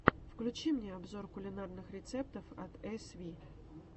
включи мне обзор кулинарных рецептов от эсви